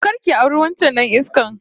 Kar ki auri wancan dan iskan!